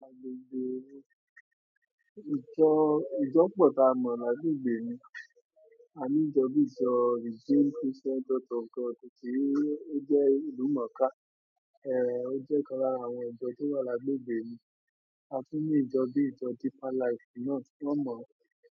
A gbọ́gbè. Ìjọ, ìjọ púpọ̀ tí a mọ̀ ní agbègbè mi. A ní ìjọ bíi ìjọ Redeemed Christian Church of God tòsí ó jẹ́ ìlúmọ̀ọ́ká, eh, ó jẹ́ ọ̀kan lára àwọn ìjọ tó wà ní agbègbè mi. A tún ní ìjọ bíi ìjọ Deeper Life, kìí ní ọ mọ̀ ọ́n.